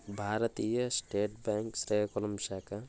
భారతీయ state bank Srikakulam శాఖ --